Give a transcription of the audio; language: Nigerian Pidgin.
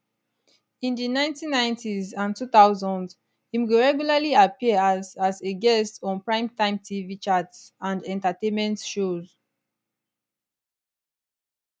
in di 1990s and 2000s im go regularly appear as as a guest on primetime tv chat and entertainment shows